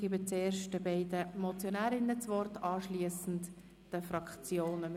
Ich gebe zuerst den beiden Motionärinnen das Wort und anschliessend den Fraktionen.